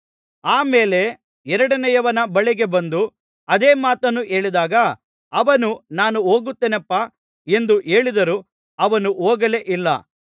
ಆಮೇಲೆ ಎರಡನೆಯವನ ಬಳಿಗೆ ಬಂದು ಅದೇ ಮಾತನ್ನು ಹೇಳಿದಾಗ ಅವನು ನಾನು ಹೋಗುತ್ತೇನಪ್ಪಾ ಎಂದು ಹೇಳಿದರೂ ಅವನು ಹೋಗಲೇ ಇಲ್ಲ